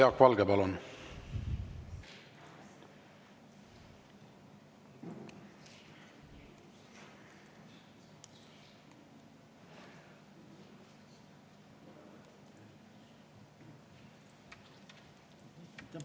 Jaak Valge, palun!